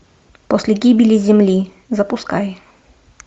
после гибели земли запускай